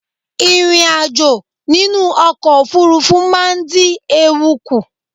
Ìrìn ajo nínú ọkọ̀ òfurufú ma n dí ewu kùn